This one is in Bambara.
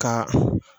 Ka